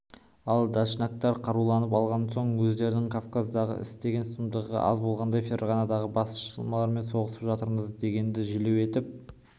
ал дашнактар қаруланып алған соң өздерінің кавказдағы істеген сұмдығы аз болғандай ферғанадағы басмашылармен соғысып жатырмыз дегенді желеу етіп